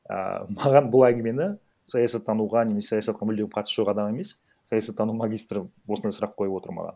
ааа маған бұл әңгімені саясаттануға немесе саясатқа мүлдем қатысы жоқ адам емес саясаттану магистрі осындай сұрақ қойып отыр маған